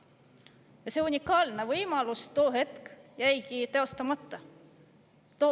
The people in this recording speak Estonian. Ja see unikaalne võimalus jäigi tol hetkel.